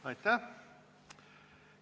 Aitäh!